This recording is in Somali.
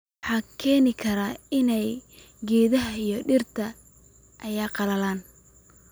waxay keeni karaan in geedaha iyo dhirta ay qallalaan